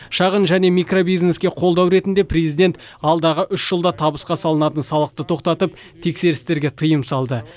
шағын және микробизнеске қолдау ретінде президент алдағы үш жылда табысқа салынатын салықты тоқтатып тексерістерге тыйым салды